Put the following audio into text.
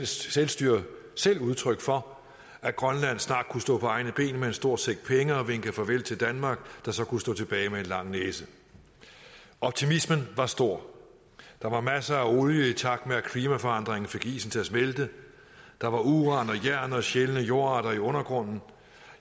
selvstyre selv udtryk for at grønland snart kunne stå på egne ben med en stor sæk penge og vinke farvel til danmark der så kunne stå tilbage med en lang næse optimismen var stor der var masser af olie i takt med at klimaforandringerne fik isen til at smelte der var uran og jern og sjældne jordarter i undergrunden